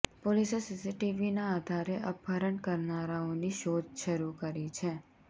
પોલીસે સીસીટીવીના આધારે અપહરણ કરનારાઓની શોધ શરૂ કરી છે